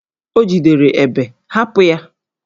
O jidere Ébè, hapụ ya!